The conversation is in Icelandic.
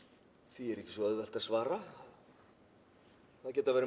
því er ekki svo auðvelt að svara það geta verið